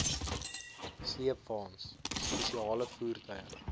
sleepwaens spesiale voertuie